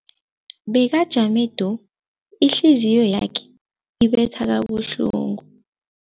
Bekajame du, ihliziyo yakhe ibetha kabuhlungu.